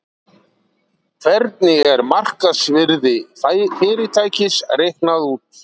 Hvernig er markaðsvirði fyrirtækis reiknað út?